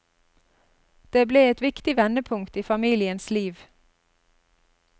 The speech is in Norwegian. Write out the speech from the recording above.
Det ble et viktig vendepunkt i familiens liv.